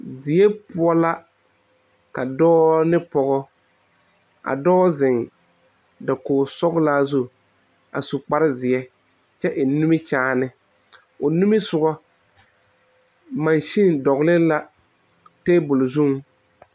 Die poɔ la ka dɔɔ ne pɔge zeŋe be ka a dɔɔ zeŋe dakoge sõɔlaa zu a suu kpaare zeɛ kyɛ eŋ nimie kyɛne o niŋe soŋe masene dɔ le la be tabole zu.